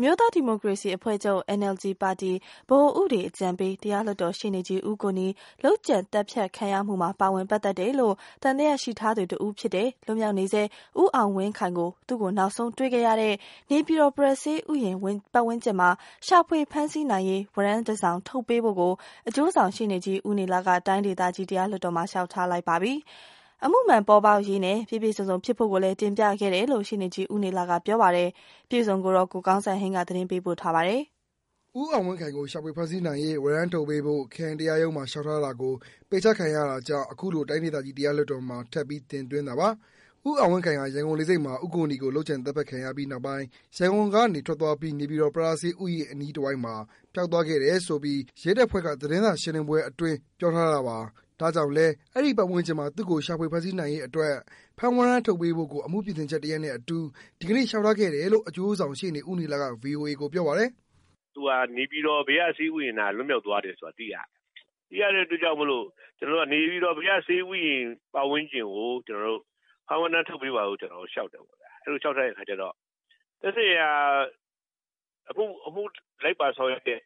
မျိုးသားဒီမိုကရေစီအဖွဲ့ချုပ် NLD ပါတီ ဗဟိုဥပဒေအကြံပေး တရားလွှတ်တော်ရှေ့နေကြီး ဦးကိုနီ လုပ်ကြံသတ်ဖြတ်ခံရမှုမှာ ပါဝင်ပတ်သက်တယ်လို့ သံသယရှိထားသူတဦးဖြစ်တဲ့ လွတ်မြောက်နေဆဲ ဦးအောင်ဝင်းခိုင်ကို သူ့ကို နောက်ဆုံးတွေ့ခဲ့ရတဲ့ နေပြည်တော်ပရဆေးဥယျာဉ်ပတ်ဝန်းကျင်မှာ ရှာဖွေဖမ်းဆီးနိုင်ရေး ဝရမ်းတစောင်ထုတ်ပေးဖို့ အကျိုးဆောင်ရှေ့နေကြီး ဦးနေလ က တိုင်းဒေသကြီး တရားလွှတ်တော်မှာ လျှောက်ထားလိုက်ပါပြီ။ အမှုမှန်ပေါ်ပေါက်ရေးနဲ့ ပြည့်ပြည့်စုံစုံဖြစ်ဖို့ကိုလည်း တင်ပြခဲ့တယ်လို့ ရှေ့နေကြီး ဦးနေလကပြောပါတယ်။ အပြည့်အစုံကိုတော့ ကိုကောင်းစံဟိန်းက သတင်းပေးပို့ထားပါတယ်။ ဦးအောင်ဝင်းခိုင်ကို ရှာဖွေဖမ်းဆီးနိုင်ရေး ဝရမ်းထုတ်ပေးဖို့ ခရိုင်တရားရုံးမှာ လေ ျှာက်ထား တာကို ပယ်ချခံခဲ့ရတာကြောင့် အခုလို တိုင်းဒေသကြီးတရားလွှတ်တော်မှာ ထပ်ပြီးတင်သွင်းတာပါ။ ဦးအောင်ဝင်းခိုင်ဟာ ရန်ကုန်လေဆိပ်မှာ ဦးကိုနီကို လုပ်ကြံ သတ် ဖြတ်ခံရပြီးတဲ့နောက်ပိုင်း ရန်ကုန်ကနေထွက်သွားပြီး နေပြည်တော် ပရဆေးဥယျာဉ် အနီးတဝိုက်မှာ ပျောက်သွားခဲ့တယ်ဆိုပြီး ရဲတပ်ဖွဲ့က သတင်းစာရှင်းလင်းပွဲအတွင်း ပြောထားတာပါ။ ဒါကြောင့်လဲ အဲဒီပတ်ဝန်းကျင်မှာ သူ့ကိုရှာဖွေဖမ်းဆီးနိုင်ရေးအတွက် ဖမ်းဝရမ်းထုတ်ပေးဖို့ကို အမှုပြင်ဆင်ချက်တရပ်နဲ့အတူ ဒီကနေ့လေ ျှာက်ထားခဲ့တယ်လို့ အကျိုးဆောင်ရှေ့နေကြီး ဦးနေလက ဗွီအိုအေကိုပြောပါတယ်။ "သူဟာ နေပြည်တော် ပရဆေးဥယျာဉ်မှာ လွတ်မြောက်သွားတယ်ဆိုတာ သိရတယ်။ သိရတဲ့အတွက်ကြောင့်မို့လို့ ကျနော်တို့က နေပြည်တော် ပရဆေးဥယျာဉ်ပတ်ဝန်းကျင်ကို ဖမ်းဝရမ်းထုတ်ပေးပါလို့ ကျနော်တို့လျှောက်တယ်။ အဲ့လိုလျှောက်တဲ့အခါကျတော့ သက်ဆိုင်ရာ အမှုလိုက်ပါဆောင်ရွက်တဲ့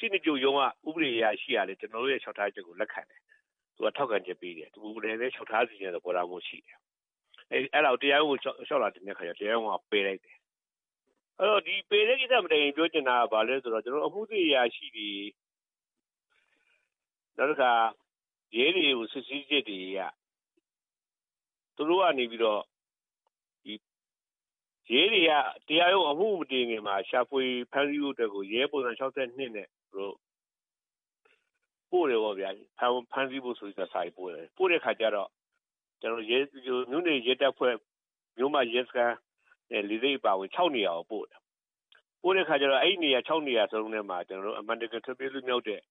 ရှေ့နေချုပ်ရုံးက ဥပဒေအရာရှိကလည်းပဲ ကျနော်တို့ရဲ့ လျှောက်ထားချက်ကို လက်ခံတယ်။ သူက ထောက်ခံချက်ပေးတယ်။ သူကိုယ်တိုင်လည်း လျှောက်ထားစေချင်တဲ့ သဘောထားမျိုး ရှိတယ်။ အဲတ့ာ တရားရုံးကို လျှောက်လွှာတင်တဲ့အခါကျတော့ တရားရုံးက ပယ်လိုက်တယ်။ အဲ့တော့ ပယ်တဲ့ကိစ္စ မတိုင်ခင် ကျနော်တို့ပြောချင်တာက ဘာလဲဆိုတော့ အမှုစစ်အရာရှိတွေ နောက်တခါ ရဲတွေကို စစ်ဆေးချက်တွေအရ သူတို့ကနေပြီးတော့မှ ရဲတွေက အမှုကို မတင်ခင်မှာ ရှာဖွေဖမ်းဆီးဖို့အတွက်ကို ရဲပုံစံ ၆၂ နဲ့ ပို့တယ်ပေါ့ဗျာ။ ဖမ်းဆီးဖို့ဆိုပြီး စာတွေပို့တယ်။ ပို့တဲ့အခါကျတော့ မြို့နယ်ရဲတပ်ဖွဲ့ မြို့မရဲစခန်း နဲ့ လေဆိပ်အပါအဝင် ခြောက်နေရာကို ပို့တယ်။ ပို့တဲ့ ခြောက်နေရာစလုံးမှာ အမှန်တကယ် ထွက်ပြေး လွတ်မြောက်သွားတဲ့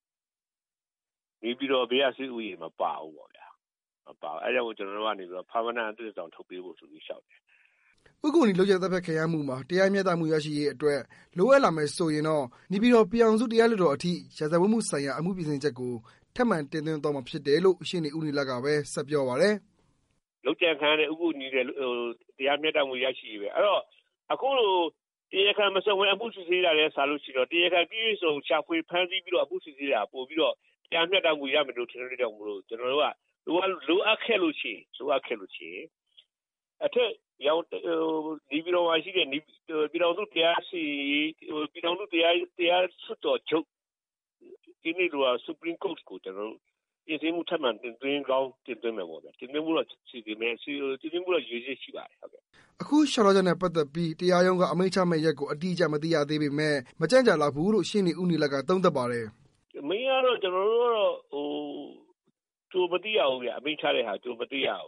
နေပြည်တော် ပရဆေးဥယာျဉ်မပါဘူး။ အဲ့တာကြောင့် ကျနော်တို့က ဖမ်းဝရမ်း အသစ်တစောင်ထုတ်ပေးဖို့ဆိုပြီး လျှောက်တယ်။" ဦးကိုနီလုပ်ကြံသတ်ဖြတ်ခံရာမှုမှာ တရားမျှတမှူရရှိရေးအတွက် လိုအပ်လာမယ်ဆိုရင် နေပြည်တော် ပြည်ထာင်စုတရားလွှတ်တော်အထိ ရာဇဝတ်မှူဆိုင်ရာ အမှူပြင်ဆင်ချက်ကို ထပ်မံတင်သွင်းသွားမှာဖြစ်တယ်လို့ ရှေ့နေဦးနေလကဘဲ ဆက်ပြောပါတယ်။ " လုပ်ကြံခံရတဲ့ ဦးကိုနီ အတွက် တရားမျှတမှု ရရှိရေးပဲ အဲ့ဒီ့တော့ အခုလို တရားခံမစုံပဲ အမှုစစ်ဆေးတာထက်စာလို့ရှိရင် တရားခံပြည့်ပြည့်စုံစုံ ဖမ်းဆီးပြီး အမှုစစ်ဆေးတာ ပိုပြီးတော့ တရားမျှတမှု ရမယ်လို့ထင်တဲ့အတွက်ကြောင့်မို့လို့ ကျနော်တို့က လိုအပ်ခဲ့လို့ရှိရင် လိုအပ်ခဲ့လို့ရှိရင် အထက်က နေပြည်တော် တရားလွှတ်တော်ချုပ် Supreme Court လို့ခေါ်တာပေါ့ဗျာ။ ပြင်ဆင်မှု ထပ်မံတင်သွင်းကောင်း တင်သွင်းမယ်ပေါ့။ တင်သွင်းဖို့တော့ ရည်ရွယ်ချက်ရှိပါတယ်။" အခု လျှောက်ထားချက်နဲ့ ပက်သက်ပီး တရားရုံးက အမိန့်ချမယ့်ရက်ကို အတိအကျ မသိရပေမဲ့ မကြန့်ကြာလောက်ဖူးလို့ ရှေ့နေဦးနေလက သုံးသပ်ပါတယ်။ " အမိန့်ကတော့ ကျနော်တို့က ကြိုမသိရဘူးဗျ။ အမိန့်ချတဲ့ဟာက ကြိုမသိရဘူး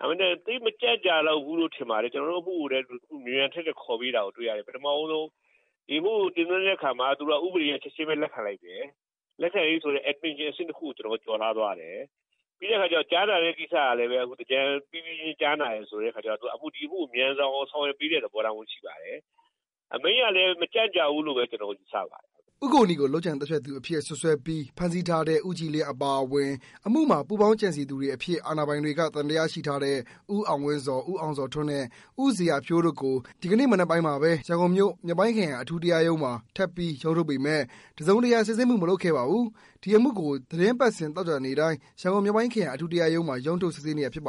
ဒါပေမဲ့ သိပ်မကြန့်ကြာလောက်ဘူးလို့တော့ ထင်ရတယ်။ ကျနော်တို့ အမှုကိုလည်း မြန်မြန်ထက်ထက် ခေါ်ပေးတာကို တွေ့ရတယ်။ ပထမဆုံး ဒီအမှုကို တင်သွင်းတဲ့အခါမှာ ဥပဒေအရ ချက်ခြင်းပဲ လက်ခံလိုက်တယ်။ လက်ခံတယ်ဆိုတဲ့အဆင့်တခုကို ကျနော်တို့က ကျော်လွှားသွားတယ်။ ပြီးတဲ့အခါကျတော့ ကြားနာတဲ့ကိစ္စကလည်း သင်္ကြန်ပြီးပြီးချင်း ကြားနာတယ်ဆိုတဲ့အခါကျတော့ ဒီအမှုကို သူတို့က မြန်ဆန်အောင် ဆောင်ရွက်ပေးနေတဲ့သဘောထားမျိုး ရှိပါတယ်။ အမိန့်ကလည်း မကြန့်ကြာဘူးလို့ ကျနော်တို့ ယူဆပါတယ်။" ဦးကိုနီကို လုပ်ကြံသတ်ဖြတ်သူအဖြစ် စွပ်စွဲပြီး ဖမ်းဆီးထားတဲ့ ဦးကြည်လင်းအပါအဝင် အမှုမှာ ပူးပေါင်းကြံစည်သူတွေအဖြစ် အာဏာပိုင်တွေက သံသယရှိထားတဲ့ ဦးအောင်ဝင်းဇော်၊ ဦးအောင်ဇော်ထွန်းနဲ့ ဦးဇေယျာဖြိုးတို့ကို ဒီကနေ့မနက်ပိုင်းမှာပဲ ရန်ကုန်မြို့၊ မြောက်ပိုင်းခရိုင်တရားရုံးမှာ ထပ်ပြီးရုံးထုတ်ပေမယ့် တစ်စုံတစ်ရာ စစ်ဆေးမှုမလုပ်ခဲ့ပါဘူး။ ဒီအမှုကို သီတင်းပတ်စဉ် သောကြာနေ့တိုင်း ရန်ကုန်မြောက်ပိုင်းခရိုင် အထူးတရားရုံးမှာ ရုံးထုတ် စစ်ဆေးနေတာဖြစ်ပ